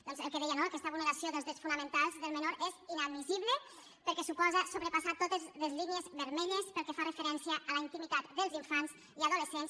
doncs el que deia no aquesta vulneració dels drets fonamentals del menor és inadmissible perquè suposa sobrepassar totes les línies vermelles pel que fa referència a la intimitat dels infants i adolescents